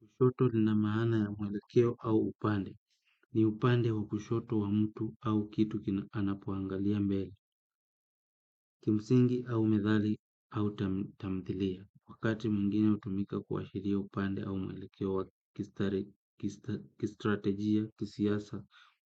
Kushoto lina maana ya mwelekeo au upande. Ni upande wa kushoto wa mtu au kitu kina anapoangalia mbele. Kimsingi au methali au tamthilia. Wakati mwingine hutumika kuashiria upande au mwelekeo wa kistrategia, kisiasa